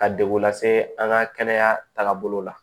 Ka degun lase an ka kɛnɛya tagabolo la